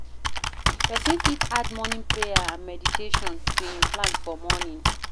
Person fit add morning prayer and meditation to im plan for morning